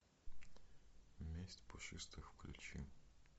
месть пушистых включи